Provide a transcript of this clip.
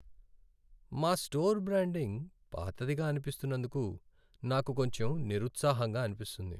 మా store branding పాతదిగా అనిపిస్తున్నందుకు నాకు కొంచెం నిరుత్సాహంగా అనిపిస్తుంది.